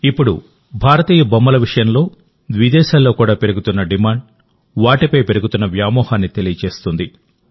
ఇప్పుడు భారతీయ బొమ్మల విషయంలో విదేశాల్లో కూడా పెరుగుతున్న డిమాండ్ వాటిపై పెరుగుతోన్న వ్యామోహాన్ని తెలియజేస్తుంది